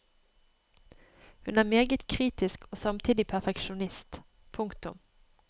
Hun er meget kritisk og samtidig perfeksjonist. punktum